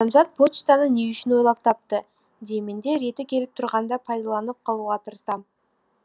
адамзат почтаны не үшін ойлап тапты деймін де реті келіп тұрғанда пайдаланып қалуға тырысам